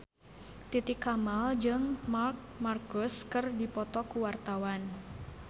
Titi Kamal jeung Marc Marquez keur dipoto ku wartawan